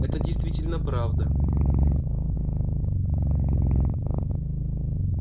это действительно правда